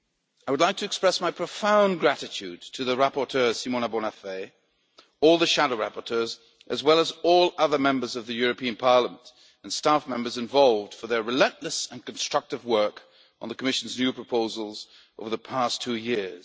I would like to express my profound gratitude to the rapporteur, Ms Simona Bonafè, all the shadow rapporteurs as well as all the other Members of the European Parliament and staff members involved for their relentless and constructive work on the Commission's new proposals over the past two years.